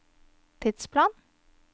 tidsplan